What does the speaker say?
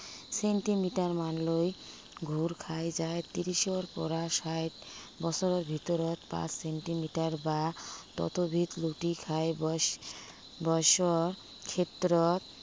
Centimetre মানলৈ ঘূৰ খাই যায়। ত্ৰিশৰ পৰা চাৰি বছৰৰ ভিতৰত পাঁচ চেন্টিমিটাৰ বা ততোধিক লুটি খাই বয়স, বয়সৰ ক্ষেত্ৰত